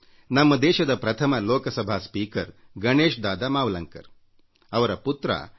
ನಮ್ಮ ದೇಶದ ಪ್ರಥಮ ಲೋಕಸಭಾ ಸ್ಪೀಕರ್ ಗಣೇಶ್ ದಾದಾ ಮಾವಲಂಕರ್ ಅವರ ಪುತ್ರ ಎಂ